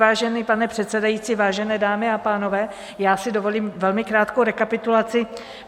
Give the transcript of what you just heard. Vážený pane předsedající, vážené dámy a pánové, já si dovolím velmi krátkou rekapitulaci.